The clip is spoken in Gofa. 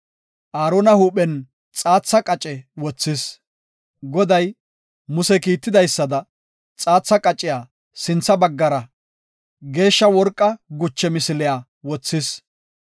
Aarona huuphen xaatha qace wothis. Goday Muse kiitidaysada xaatha qaciya sintha baggara Geeshsha worqa guche misiliya wothis.